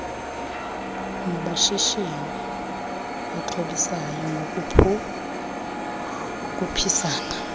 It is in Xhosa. bamashishini axhobisayo ngokukhuphisana